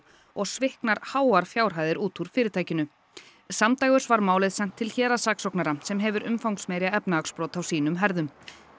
og sviknar háar fjárhæðir úr fyrirtækinu samdægurs var málið sent til héraðssaksóknara sem hefur umfangsmeiri efnahagsbrot á sínum herðum